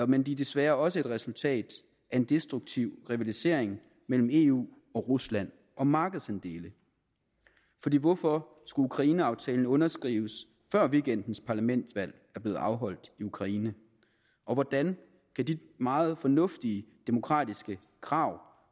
men de er desværre også et resultat af en destruktiv rivalisering mellem eu og rusland om markedsandele hvorfor skulle ukraineaftalen underskrives før weekendens parlamentsvalg er blevet afholdt i ukraine og hvordan kan de meget fornuftige demokratiske krav